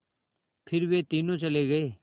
फिर वे तीनों चले गए